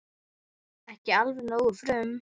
Ekki alveg nógu frum